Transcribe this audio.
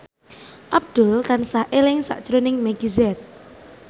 Abdul tansah eling sakjroning Meggie Z